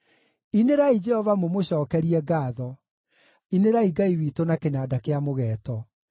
Inĩrai Jehova mũmũcookerie ngaatho; inĩrai Ngai witũ na kĩnanda kĩa mũgeeto.